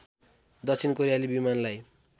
दक्षिण कोरियाली विमानलाई